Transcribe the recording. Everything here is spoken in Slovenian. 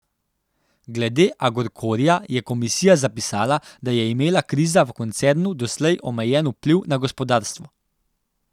Glede Agorkorja je komisija zapisala, da je imela kriza v koncernu doslej omejen vpliv na gospodarstvo.